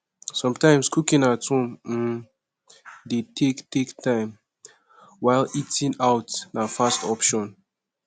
sometimes cooking at home um de take take time while eating out na fast option